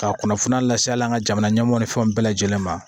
Ka kunnafoniya lase hali an ka jamana ɲɛmɔɔw ni fɛnw bɛɛ lajɛlen ma